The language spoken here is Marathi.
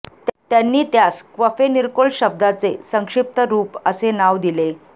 त्यांनी त्यास क्फफेर्निकोल शब्दाचे संक्षिप्त रूप असे नाव दिले